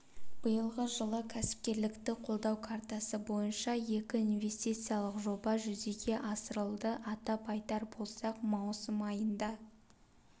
биылғы жылы кәсіпкерлікті қолдау картасы бойынша екі инвестициялық жоба жүзеге асырылды атап айтар болсақ маусым айында